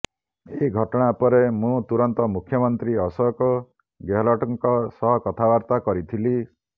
ଏହି ଘଟଣା ପରେ ମୁଁ ତୁରନ୍ତ ମୁଖ୍ୟମନ୍ତ୍ରୀ ଅଶୋକ ଗେହଲଟଙ୍କ ସହ କଥାବାର୍ତ୍ତା କରିଥିଲି